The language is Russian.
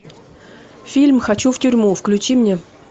фильм хочу в тюрьму включи мне